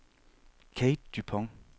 Kate Dupont